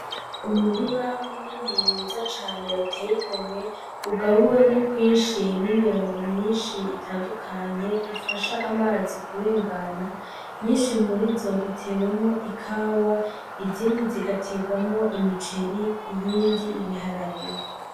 Umurima munini mwiza cane uteye igomwe ugabuwemwo kwinshi n'imirongo myinshi itandukanye ifasha amazi kurengana, nyinshi murizo itewemwo ikawa izindi zigaterwamwo imiceri iyindi ibiharage.